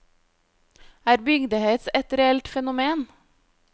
Er bygdehets et reelt fenomen?